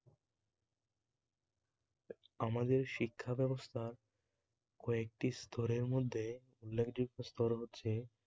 আমাদের শিক্ষাব্যবস্থা কয়েকটি স্তর এর মধ্যে স্তরও হচ্ছে